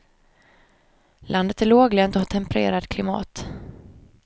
Landet är låglänt och har tempererat klimat.